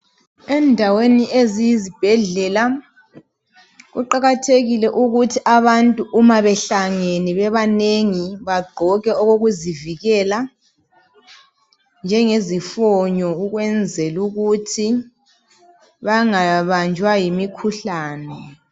Endaweni eziyizibhedlela kuqakathekile ukuthi abantu bonke bagqoke okokuzivikela okunjengezifonyo ukwenzelukuthi bangabanjwa yimikhuhlani